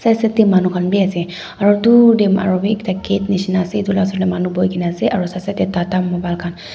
side side te manu khan bi ase aro dur te aro bi gate nishina ase itu laga osor te manu buhi kena ase aro side side te tata mobile khan--